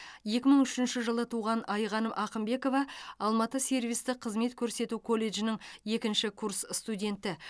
екі мың үшінші жылы туған айғаным ақымбекова алматы сервистік қызмет көрсету колледжінің екінші курс студенті